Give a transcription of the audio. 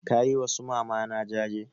Ka yi wa su mamana jaje?